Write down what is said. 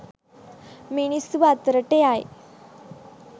මිනිස්සු අතරට යයි